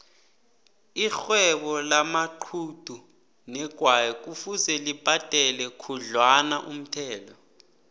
ixhwebo lamaxhugu negwayi kufuze libhadele khudlwanaumthelo